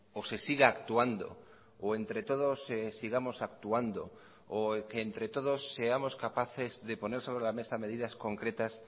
o se siga actuando o entre todos sigamos actuando o que entre todos seamos capaces de poner sobre la mesa medidas concretas